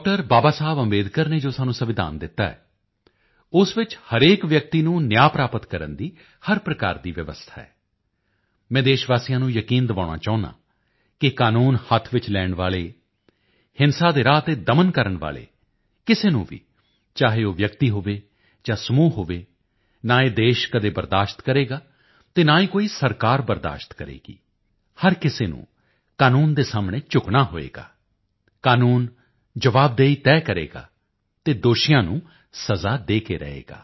ਬਾਬਾ ਸਾਹਿਬ ਅੰਬੇਡਕਰ ਨੇ ਸਾਨੂੰ ਜੋ ਸੰਵਿਧਾਨ ਦਿੱਤਾ ਹੈ ਉਸ ਵਿੱਚ ਹਰੇਕ ਵਿਅਕਤੀ ਨੂੰ ਨਿਆਂ ਪ੍ਰਾਪਤ ਕਰਨ ਦੀ ਹਰ ਪ੍ਰਕਾਰ ਦੀ ਵਿਵਸਥਾ ਹੈ ਮੈਂ ਦੇਸ਼ ਵਾਸੀਆਂ ਨੂੰ ਯਕੀਨ ਦਿਵਾਉਣਾ ਚਾਹੁੰਦਾ ਹਾਂ ਕਿ ਕਾਨੂੰਨ ਹੱਥ ਵਿੱਚ ਲੈਣ ਵਾਲੇ ਹਿੰਸਾ ਦੇ ਰਾਹ ਤੇ ਦਮਨ ਕਰਨ ਵਾਲੇ ਕਿਸੇ ਨੂੰ ਵੀ ਚਾਹੇ ਉਹ ਵਿਅਕਤੀ ਹੋਵੇ ਜਾਂ ਸਮੂਹ ਹੋਵੇ ਨਾ ਇਹ ਦੇਸ਼ ਕਦੇ ਬਰਦਾਸ਼ਤ ਕਰੇਗਾ ਤੇ ਨਾ ਹੀ ਕੋਈ ਸਰਕਾਰ ਬਰਦਾਸ਼ਤ ਕਰੇਗੀ ਹਰ ਕਿਸੇ ਨੂੰ ਕਾਨੂੰਨ ਦੇ ਸਾਹਮਣੇ ਝੁਕਣਾ ਹੋਵੇਗਾ ਕਾਨੂੰਨ ਜਵਾਬਦੇਹੀ ਤੈਅ ਕਰੇਗਾ ਅਤੇ ਦੋਸ਼ੀਆਂ ਨੂੰ ਸਜ਼ਾ ਦੇ ਕੇ ਰਹੇਗਾ